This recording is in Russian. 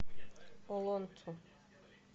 олонцу